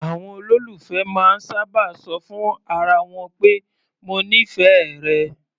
Àwọn olólùfẹ́ máa ń sábà ṣọ fún ara wọn pé "mo nífẹ̀ẹ́ rẹ".